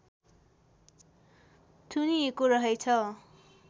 थुनिएको रहेछ